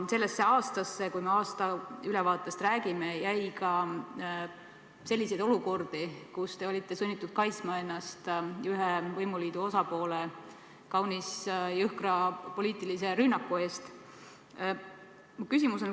Sellesse aastasse – kui me aastaülevaatest räägime – jäi ka selliseid olukordi, kus te olite sunnitud kaitsma ennast ühe võimuliidu osapoole kaunis jõhkra poliitilise rünnaku eest.